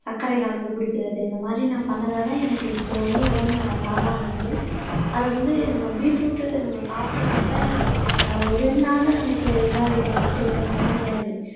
சர்க்கரை கலந்து குடிக்கிறது இந்த மாதிரி நான் பண்ணதாதான் எனக்கு இப்போ வந்து உடல் இருக்கு. அது வந்து நம்ம பீட்ரூட் நம்ம சாப்பிட சாப்பிட ஒரு ரெண்டு நாள்ல நமக்கு இதாயிடும் அப்படிங்கிற மாதிரி எல்லாம் கிடையாது